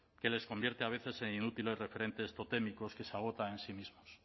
que les convierte a veces en inútiles referentes totémicos que se agotan en sí mismos